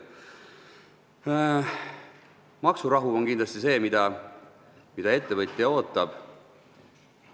Maksurahu on kindlasti see, mida ettevõtja ootab.